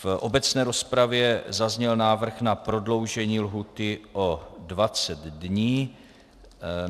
V obecné rozpravě zazněl návrh na prodloužení lhůty o 20 dní.